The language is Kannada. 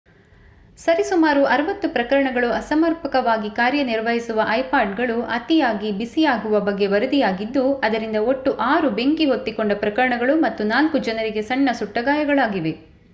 ಸರಿ ಸುಮಾರು 60 ಪ್ರಕರಣಗಳು ಅಸಮರ್ಪಕವಾಗಿ ಕಾರ್ಯನಿರ್ವಹಿಸುವ ಐಪಾಡ್ಗಳು ಅತಿಯಾಗಿ ಬಿಸಿಯಾಗುವ ಬಗ್ಗೆ ವರದಿಯಾಗಿದ್ದು ಅದರಿಂದ ಒಟ್ಟು 6 ಬೆಂಕಿ ಹೊತ್ತಿಕೊಂಡ ಪ್ರಕರಣಗಳು ಮತ್ತು 4 ಜನರಿಗೆ ಸಣ್ಣ ಸುಟ್ಟಗಾಯಗಳಾಗಿವೆ